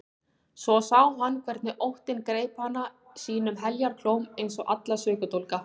Svo sá hann hvernig óttinn greip hana sínum heljarklóm eins og alla sökudólga.